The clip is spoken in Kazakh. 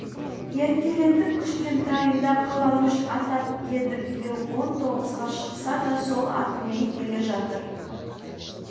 еркелетіп кішкентайында қаламүш атап еді биыл он тоғызға шықса да сол атымен келе жатыр